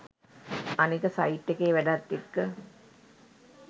අනික සයිට් එකේ වැඩත් එක්ක